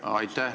Aitäh!